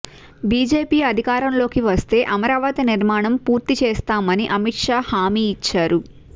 BJP అధికారంలోకి వస్తే అమరావతి నిర్మాణం పూర్తి చేస్తామని అమిత్ షా హామీ ఇచ్చారు